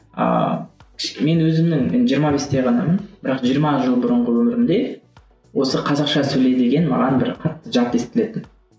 ыыы мен өзімнің жиырма бесте ғанамын бірақ жиырма жыл бұрынғы өмірімде осы қазақша сөйле деген маған бір қатты жат естілетін